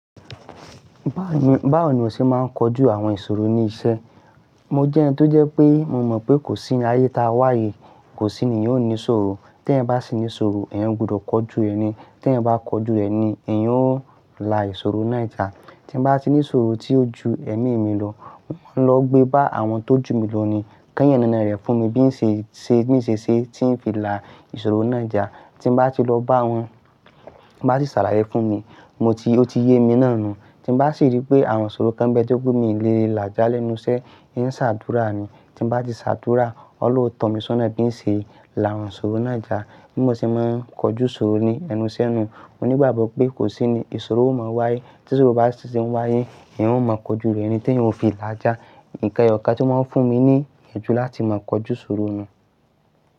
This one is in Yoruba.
Báwo ni, báwo ni iwọ ṣe máa ń kojú àwọn ìṣòro ní iṣẹ́? Mo jẹ́ ẹni tó jẹ́ pé mo mọ̀ pé kò sí ni ayé ta wá yii, kò sí ni èèyàn óò ní ìṣòro. Te èèyàn bá sì ní ìṣòro, èèyan gbudọ̀ kọjú rẹni. Te èèyàn bá kọjú rẹni, èèyàn ó lá ìṣòro náà já. Tí n bá ti ní ìṣòro tí ó ju ẹ̀mí mi lọ, mo lọ gbé bá àwọn tó jù mi ló ni kí wọ́n yanàná rẹ̀ fún mi bí n ṣe, ṣe bí n ṣe ṣe tí ń fi lá ìṣòro náà já. Tí n bá ti lọ bá wọn, ti n bá sì ṣàlàyé fún mi, mo ti ó ti yé mi náà nu. Tí n bá sì rí pé àwọn ṣòro kan bẹ́ ti o pé mii lè lájà lẹ́nu iṣẹ́, ń ṣàdúrà ni. Tí n bá ti ṣàdúrà, Ọlọ́run ó tọ̀ mí sọ́nà bí n ṣe lá àwọn ṣòro náà já. Bí mo ṣe máa ń kọjú ṣòro ní ẹnu iṣẹ́ nu, mo ní ìgbàgbọ́ pé kò sí ni ìṣòro ó mọ wáyé. Tí ṣòro bá ṣi ti ń wáyé, èèyàn ó mọ kọjú rẹni te èèyàn óò fi láajà. Nǹkan ẹyọ̀kan tí mọ́ ń fún mi ní iyànjú láti mọ kọjú òro nu.